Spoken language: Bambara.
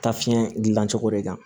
Taa fiɲɛ gilan cogo de kan